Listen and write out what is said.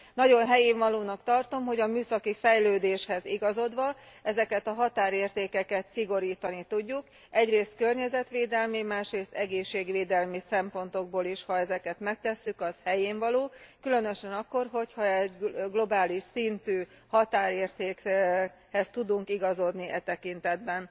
Nagyon helyénvalónak tartom, hogy a műszaki fejlődéshez igazodva, ezeket a határértékeket szigorítani tudjuk, egyrészt környezetvédelmi, másrészt egészségvédelmi szempontokból is. Ha ezeket megtesszük, az helyénvaló, különösen akkor, ha egy globális szintű határértékhez tudunk igazodni e tekintetben.